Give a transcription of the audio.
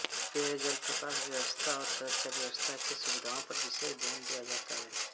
पेयजल प्रकाश व्यवस्था और सुरक्षा व्यवस्था की सुविधाओं पर विशेष ध्यान दिया जाता है